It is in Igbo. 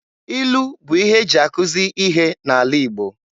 Ilu bụ ihe eji akuzi ihe n'ala Igbo.